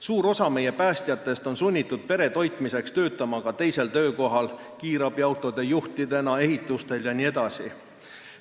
Suur osa meie päästjatest on sunnitud pere toitmiseks töötama ka teisel töökohal – kiirabiauto juhina, ehitusel jne.